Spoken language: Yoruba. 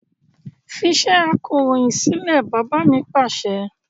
Fi iṣẹ́ akọròyìn sílẹ̀! Bàbá mi Pàṣẹ.